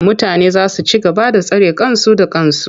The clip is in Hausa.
Mutane za su ci gaba da tsare kansu da kansu.